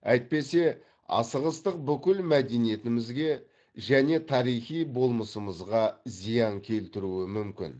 әйтпесе асығыстық бүкіл мәдениетімізге және тарихи болмысымызға зиян келтіруі мүмкін